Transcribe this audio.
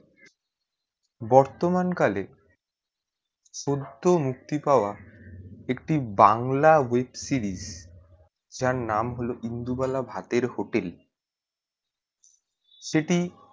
বর্তমান কালে পদমুক্তি পাওয়া একটি বাংলা web series যার নাম হলো ইন্দুবালা ভাতের hotel সেটি